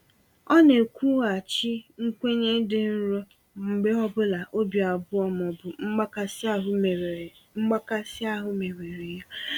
Ọ na-ekwughachi nkwenye dị nro mgbe ọ bụla obi abụọ ma ọ bụ mgbakasi ahụ mewere mgbakasi ahụ mewere ya.